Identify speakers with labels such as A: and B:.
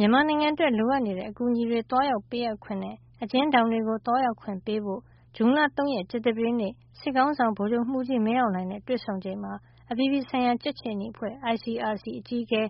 A: မြန်မာနိုင်ငံအတွက် လိုအပ်နေတဲ့အကူအညီတွေ သွားရောက်ပေးအပ်ခွင့်နဲ့ အကျဉ်းထောင်တွေကို သွားရောက်ခွင့်ပေးဖို့ ဇွန်လ ၃ ရက် ကြာသပတေးနေ့ စစ်ခေါင်းဆောင် ဗိုလ်ချုပ်မှုးကြီး မင်းအောင်လှိုင်နဲ့ တွေ့ဆုံချိန်မှာ အပြည်ပြည်ဆိုင်ရာ ကြက်ခြေနီအဖွဲ့ ICRC အကြီးအကဲ